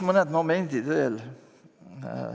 Mõned momendid veel.